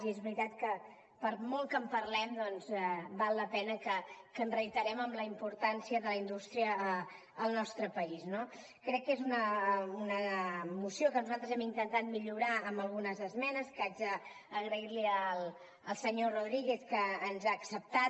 i és veritat que per molt que en parlem doncs val la pena que ens reiterem en la importància de la indústria al nostre país no crec que és una moció que nosaltres hem intentat millorar amb algunes esmenes que haig d’agrair li al senyor rodríguez que ens ha acceptat